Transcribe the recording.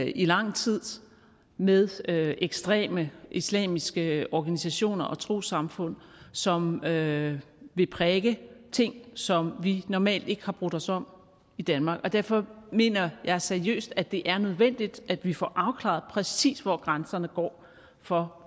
i lang tid med ekstreme islamiske organisationer og trossamfund som vil vil prædike ting som vi normalt ikke har brudt os om i danmark derfor mener jeg seriøst at det er nødvendigt at vi får afklaret præcis hvor grænserne går for